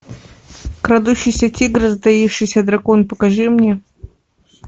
крадущийся тигр затаившийся дракон покажи мне